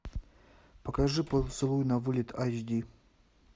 покажи поцелуй на вылет эйч ди